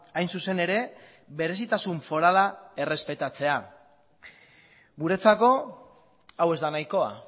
hain zuzen ere berezitasun forala errespetatzea guretzako hau ez da nahikoa